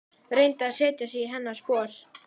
Reyndi að setja sig í hennar spor.